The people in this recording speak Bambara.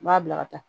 N b'a bila ka taa